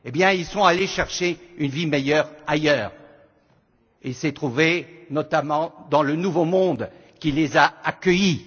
Ils sont allés chercher une vie meilleure ailleurs et se sont tournés notamment vers le nouveau monde qui les a accueillis.